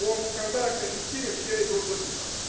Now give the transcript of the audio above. он в контактной системе в сфере госзакупок